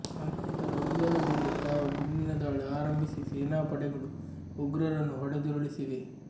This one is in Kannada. ನಂತರ ಉಗ್ರರ ಮೇಲೆ ತಾವೂ ಗುಂಡಿನ ದಾಳಿ ಆರಂಭಿಸಿ ಸೇನಾಪಡೆಗಳು ಉಗ್ರರನ್ನು ಹೊಡೆದುರುಳಿಸಿವೆ